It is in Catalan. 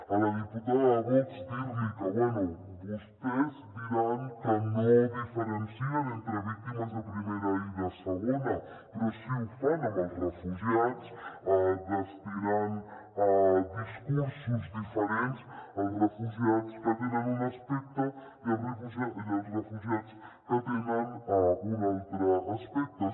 a la diputada de vox dir li que bé vostès diran que no diferencien entre víctimes de primera i de segona però sí que ho fan amb els refugiats destinant discursos diferents als refugiats que tenen un aspecte i als refugiats que tenen un altre aspecte